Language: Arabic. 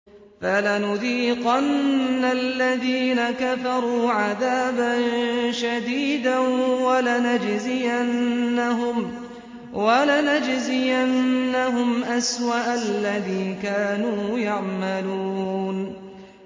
فَلَنُذِيقَنَّ الَّذِينَ كَفَرُوا عَذَابًا شَدِيدًا وَلَنَجْزِيَنَّهُمْ أَسْوَأَ الَّذِي كَانُوا يَعْمَلُونَ